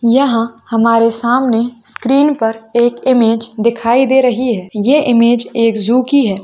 यहां हमारे सामने स्क्रीन पर एक इमेज दिखाई दे रही है ये इमेज एक जू की है।